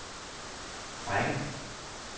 række